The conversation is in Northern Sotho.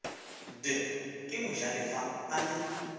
d ke mojalefa a le